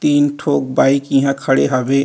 तीन ठोक बाइक इंहा खड़े हवे।